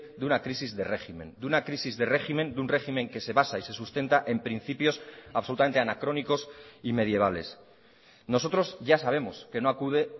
de una crisis de régimen de una crisis de régimen de un régimen que se basa y se sustenta en principios absolutamente anacrónicos y medievales nosotros ya sabemos que no acude